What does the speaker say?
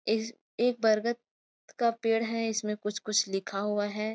इस एक बरगद का पेड़ है इसमें कुछ-कुछ लिखा हुआ है।